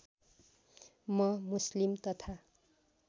म मुस्लिम तथा